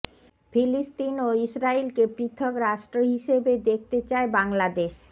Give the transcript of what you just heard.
ফিলিস্তিন ও ইসরাইলকে পৃথক রাষ্ট্র হিসেবে দেখতে চায় বাংলাদেশ